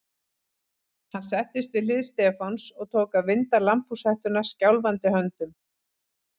Hann settist við hlið Stefáns og tók að vinda lambhúshettuna skjálfandi höndum.